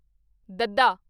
ਦੱਦਾ